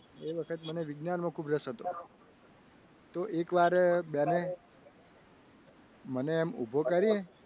એ વખતે મને વિજ્ઞાનમાં ખૂબ રસ હતો તો એકવાર બેન મને એમ ઉભો કરી.